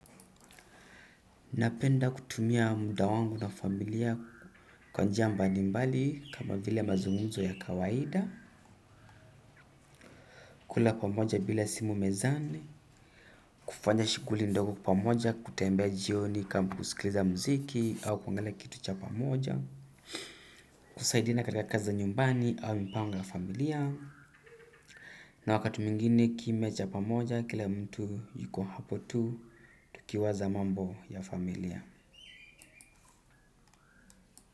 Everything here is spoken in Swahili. Napenda kutumia muda wangu na familia kwa njia mbalimbali kama vile mazungumzo ya kawaida, kula pamoja bila simu mezani kufanya shughuli ndogo pamoja kutembea jioni kama kuskiza muziki au kuangalia kitu kwa pamoja kusaidiana kazi za nyumbani au mipango ya familia na wakati mwingini kim cha pamoja kila mtu yuko hapo tu, tukiwaza mambo ya familia.